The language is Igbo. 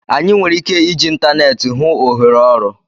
Anyị nwere ike iji ịntaneetị hụ ohere ọrụ